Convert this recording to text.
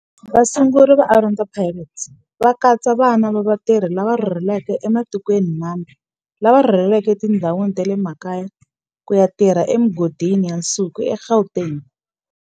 Vasunguri va Orlando Pirates va katsa vana va vatirhi lava rhurhelaka ematikweni mambe lava rhurheleke etindhawini ta le makaya ku ya tirha emigodini ya nsuku eGauteng.